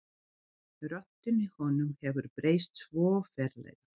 Röddin í honum hefur breyst svo ferlega.